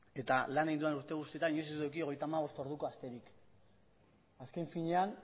eta lan egin dudan urte guztietan inoiz ez dut eduki hogeita hamabost orduko asterik azken finean